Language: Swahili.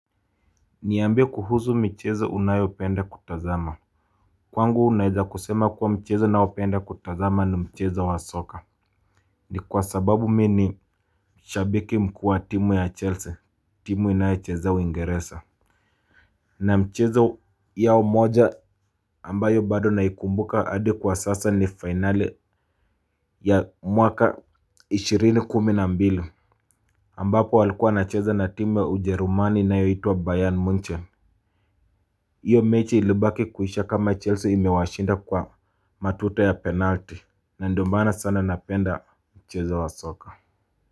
Niambie kuhuzu michezo unayopenda kutazama. Kwangu naeza kusema kuwa mchezo naopenda kutazama ni mchezo wa soka. Ni kwa sababu mi ni shabiki mkuu wa timu ya Chelsea timu inayocheza uingeresa. Na mchezo yao moja ambayo bado naikumbuka adi kwa sasa ni fainale ya mwaka ishirini kumi na mbili ambako walikuwa wanacheza na timu ya ujerumani inayoitwa bayan munchen. Iyo mechi ilibaki kuisha kama Chelsea imewashinda kwa matuto ya penalti. Na ndo maana sana napenda mchezo wa soka.